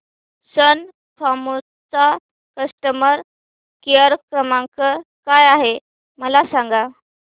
सन फार्मा चा customer care क्रमांक काय आहे मला सांगा